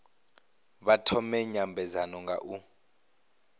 vha thome nymbedzano nga u